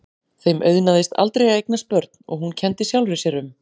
Þeim auðnaðist aldrei að eignast börn og hún kenndi sjálfri sér um.